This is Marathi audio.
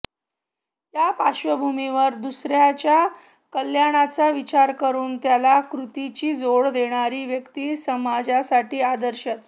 या पार्श्वभूमीवर दुसऱ्याच्या कल्याणाचा विचार करून त्याला कृतीची जोड देणारी व्यक्ती समाजासाठी आदर्शच